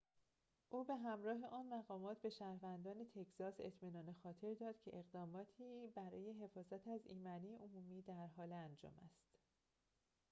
او به همراه آن مقامات به شهروندان تگزاس اطمینان خاطر داد که اقداماتی برای حفاظت از ایمنی عمومی در حال انجام است